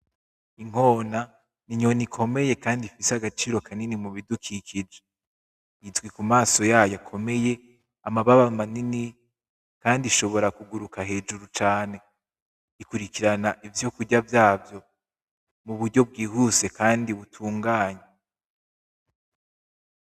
Inkona n’inyoni ikomeye kandi ifise agaciro kanini mubidukikije. Izwi ku mamaso yayo akomeye, amababa manini, kandi ishobora kuguruka hejuru cane. Ikurikirana ivyokurya vyavyo muburyo bwihuse kandi butunganye.